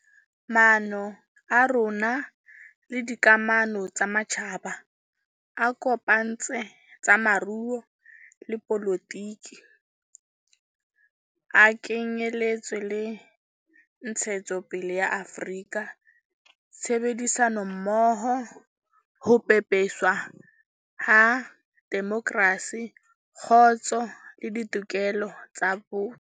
Maano a rona le dikamano tsa matjhaba a kopantse tsa moruo le dipolotiki a ke nyeletse le ntshetsopele ya Afrika, tshebedisanommoho, ho pepeswa ha demokrasi, kgotso le ditokelo tsa botho.